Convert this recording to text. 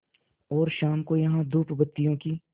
और शाम को यहाँ धूपबत्तियों की